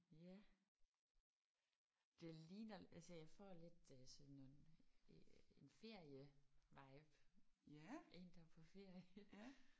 Ja det ligner altså jeg får lidt øh sådan nogle en ferievibe. En der er på ferie